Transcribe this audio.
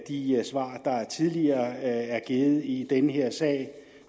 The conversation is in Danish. de svar der tidligere er blevet givet i den her sag